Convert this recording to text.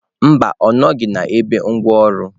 Mba, ọ nọghị na igbe ngwaọrụ.